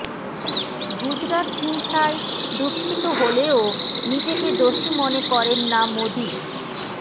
গুজরাত হিংসায় দুঃখিত হলেও নিজেকে দোষী মনে করেন না মোদী